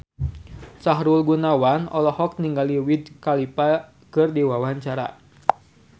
Sahrul Gunawan olohok ningali Wiz Khalifa keur diwawancara